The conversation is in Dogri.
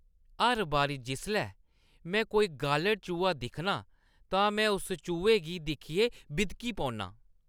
हर बारी जिसलै में कोई गालढ़-चूहा दिक्खनां, तां में उस चूहे गी दिक्खियै बिदकी पौन्नां।